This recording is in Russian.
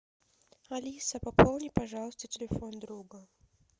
алиса пополни пожалуйста телефон друга